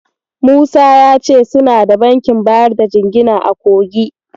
Musa ya ce suna da bankin bayar da jingina a Kogi.